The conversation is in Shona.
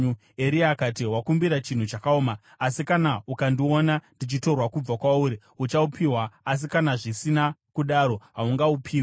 Eria akati, “Wakumbira chinhu chakaoma, asi kana ukandiona ndichitorwa kubva kwauri, uchaupiwa, asi kana zvisina kudaro, haungaupiwi.”